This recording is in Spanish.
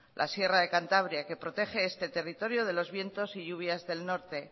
la sierra de cantabria que protege este territorio de los vientos y lluvias del norte